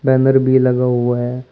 Banner भी लगा हुआ है।